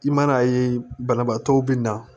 I man'a ye banabaatɔw bɛ na